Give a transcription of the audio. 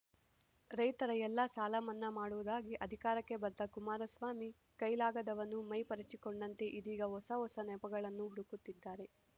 ರೈತರ ಎಲ್ಲ ಸಾಲ ಮನ್ನಾ ಮಾಡುವುದಾಗಿ ಅಧಿಕಾರಕ್ಕೆ ಬಂದ ಕುಮಾರಸ್ವಾಮಿ ಕೈಲಾಗದವನು ಮೈ ಪರಚಿಕೊಂಡಂತೆ ಇದೀಗ ಹೊಸ ಹೊಸ ನೆಪಗಳನ್ನು ಹುಡುಕುತ್ತಿದ್ದಾರೆ